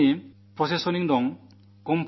ഖരമാലിന്യങ്ങളുടെ സംസ്കരണം നടക്കണം